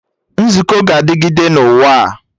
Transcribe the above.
Nzukọ ga-adịgịde na ụwa a